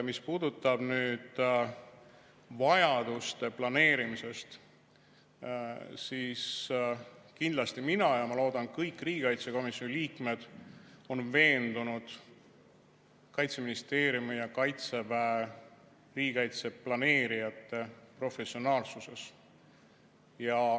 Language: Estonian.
Mis puudutab nüüd vajaduste planeerimist, siis kindlasti mina ja ma loodan, et kõik riigikaitsekomisjoni liikmed on veendunud Kaitseministeeriumi ja Kaitseväe riigikaitseplaneerijate professionaalsuses.